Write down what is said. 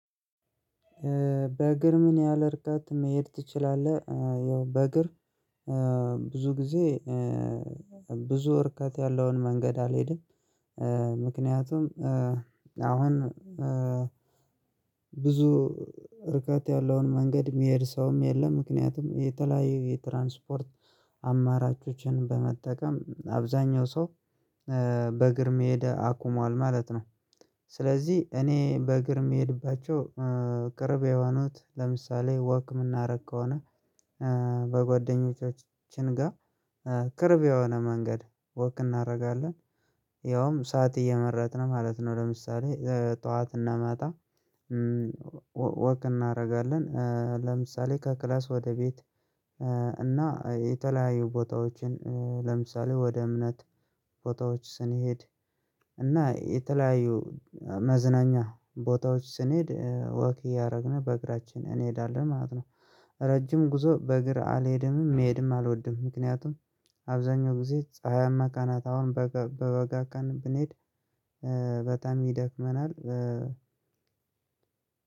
በእግር ምን ያህል እርቃት መሄድ ትችላለህ? ያው በእግር ብዙ ጊዜ ብዙ ርቀት ያለውን መንገድ አልሄድም። ምክንያቱም አሁን ብዙ ርቃት ያለውን መንገድ የሚሄድ ሰውም የለም ምክንያቱም የተለያየ የትራንስፖርት አማራጮችን በመጠቀም አብዛኛው ሰው በእግር መሄድ አቁሟል ማለት ነው። ስለዚህ እኔ በእግር ምሄድባቸው ቅርቤ የሆኑት ለምሳሌ ወክ ምናረግ ከሆነ በጓደኞቻችን ጋር ቅርብ የሆነ መንገድ ወክ እናደርጋለን። ያውም ሰዓት እየመረትን ማለት ነው ለምሳሌ ጠዋት እና መታ ወቅ እናደርጋለን። ለምሳሌ ከክላስ ወደ ቤት እና የተለያዩ ቦታዎችን ለምሳሌ ወደ እምነት ቦታዎች ስንሄድ እና የተለያዩ መዝናኛ ቦታዎች ስንሄድ ወክ እያደረግን በእግራችን እንሄዳለን ማለት ነው። ረጅም ጉዞ በእግር አልሄድምም መሄድም አልወድም ምክንያቱም አብዛኛው ጊዜ ፀሀያማ ቀናት አሁን በወጋ ቀን ብንሄድ በጣሚ ይደክመናል።